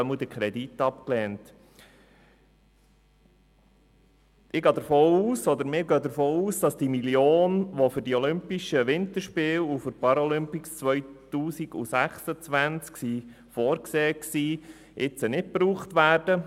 Wir gehen davon aus, dass die 1 Mio. Franken nicht gebraucht werden, die für die Olympischen Winterspiele und die Paralympics 2026 vorgesehen waren.